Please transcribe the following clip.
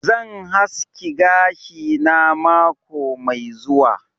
Zan haski gashi na mako Mai zuwa.